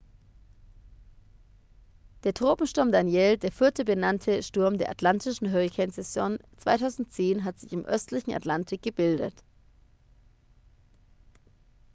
der tropensturm danielle der vierte benannte sturm der atlantischen hurrikansaison 2010 hat sich im östlichen atlantik gebildet